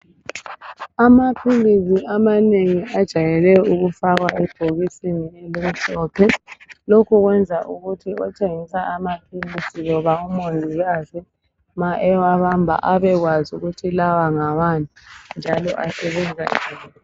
Amaphilisi amanengi ajayele ukufakwa ebhokisini elimhlophe. Lokhu kwenza ukuthi othengisa amaphilisi loba umongikazi ma ewabamba abekwazi ukuthi lawa ngawani. njalo asebenza njani.